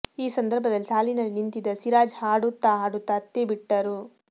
ಈ ಸಂದರ್ಭದಲ್ಲಿ ಸಾಲಿನಲ್ಲಿ ನಿಂತಿದ್ದ ಸಿರಾಜ್ ಹಾಡುತ್ತಾ ಹಾಡುತ್ತಾ ಅತ್ತೇ ಬಿಟ್ಟರು